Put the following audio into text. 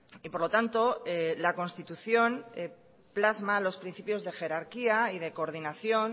y por lo tanto la constitución plasma los principios de jerarquía y de coordinación